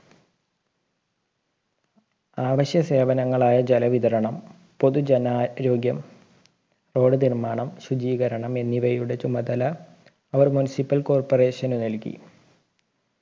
ആവശ്യ സേവനങ്ങളായ ജലവിതരണം പൊതുജനാ രോഗ്യം road നിർമ്മാണം ശുചീകരണം എന്നിവയുടെ ചുമലത അവർ municipal corporation ന് നൽകി